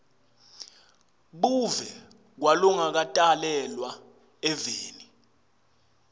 buve kwalongakatalelwa eveni